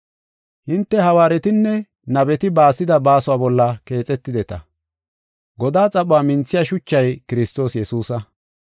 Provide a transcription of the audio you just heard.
Hinte hawaaretinne nabeti baasida baasuwa bolla keexetideta. Godaa xaphuwa minthiya shuchay Kiristoos Yesuusa.